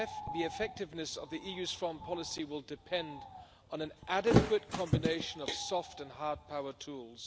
The effectiveness of the EU's foreign policy will depend on an adequate combination of soft and hard power tools.